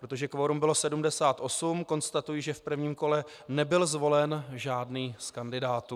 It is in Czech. Protože kvorum bylo 78, konstatuji, že v prvním kole nebyl zvolen žádný z kandidátů.